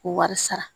K'o wari sara